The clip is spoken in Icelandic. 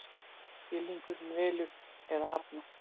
Skilningurinn velur eða hafnar.